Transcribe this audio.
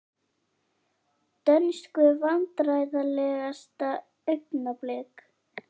Dönsku Vandræðalegasta augnablik?